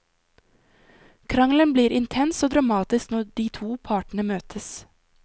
Krangelen blir intens og dramatisk når de to partene møtes.